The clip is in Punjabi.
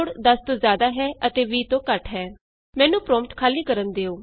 sum is greater than 10 and less than 20 ਮੈਨੂੰ ਪਰੋਂਪਟ ਖਾਲੀ ਕਰਨ ਦਿਉ